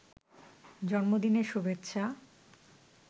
জন্মদিনের শুভেচ্ছা